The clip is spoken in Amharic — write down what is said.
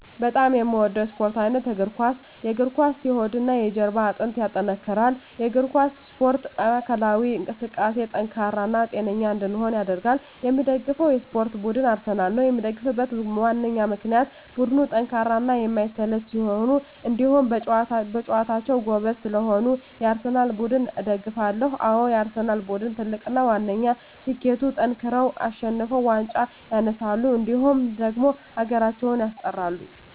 በጣም የምወደው የስፓርት አይነት የእግር ኳስ። የእግር ኳስ የሆድና የጀርባ አጥንትን ያጠነክራል። የእግር ኳስ እስፖርት ለአካላዊ እንቅስቃሴ ጠንካራ እና ጤነኛ እንድንሆን ያደርጋል። የምደግፈው የስፓርት ቡድን አርሰናል ነው። የምደግፍበት ዋነኛ ምክንያት ቡድኑ ጠንካራና የማይሰለች ስለሆኑ እንዲሁም በጨዋታቸው ጎበዝ ስለሆኑ የአርሰናል ቡድንን እደግፋለሁ። አዎ የአርሰናል ቡድን ትልቁና ዋነኛ ስኬቱጠንክረው አሸንፈው ዋንጫ ያነሳሉ እንዲሁም ደግሞ ሀገራችንም ያስጠራሉ።